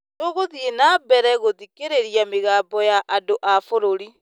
Tũgũthiĩ na mbere gũthikĩrĩria mĩgambo ya andũ a bũrũri.